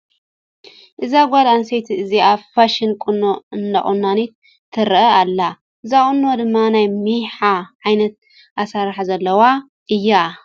እዛ ጓል ኣነስተይቲ እዚኣ ፋሽን ቁኖ እንዳቆነነት ትረአ ኣላ ። እዚ ቁኖ ድማ ናይ ሚሓ ዓይነት ኣሰራርሓ ዘለዎ እዩ ።